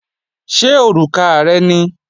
Ṣé òrùka rẹ ni?